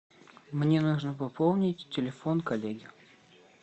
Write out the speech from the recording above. мне нужно пополнить телефон коллеги